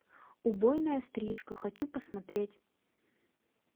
убойная стрижка хочу посмотреть